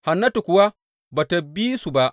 Hannatu kuwa ba tă bi su ba.